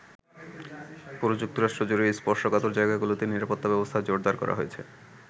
পুরো যুক্তরাষ্ট্র জুড়েই স্পর্শকাতর জায়গাগুলোতে নিরাপত্তা ব্যবস্থা জোরদার করা হয়েছে।